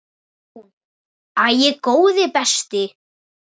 Hún: Æi, góði besti.!